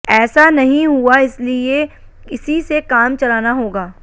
ऐसा नहीं हुआ इसलिए इसी से काम चलाना होगा